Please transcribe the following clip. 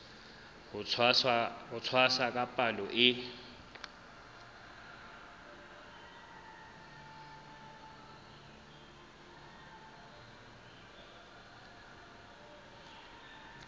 ho tshwasa ka palo e